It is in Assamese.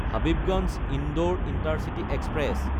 হাবিবগঞ্জ–ইন্দোৰ ইণ্টাৰচিটি এক্সপ্ৰেছ